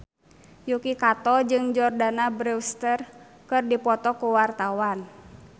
Yuki Kato jeung Jordana Brewster keur dipoto ku wartawan